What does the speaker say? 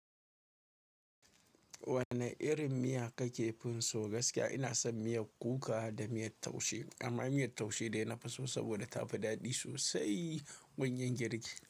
Wane irin miya kake finso? Gaskiya ina son miyar kuka da miyar taushe amma miyar taushe dai nafi so saboda tafi daɗi sosai. Gunyin girki.